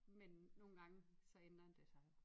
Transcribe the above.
Men nogen gange så ændrer det sig jo